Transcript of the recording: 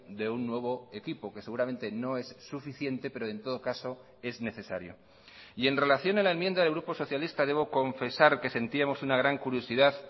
de un nuevo equipo que seguramente no es suficiente pero en todo caso es necesario y en relación a la enmienda del grupo socialista debo confesar que sentíamos una gran curiosidad